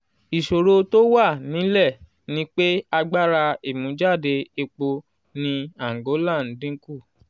ìṣòro tó wà nílẹ̀ ni pé agbára ìmújáde epo ní àǹgólà ń dín kù.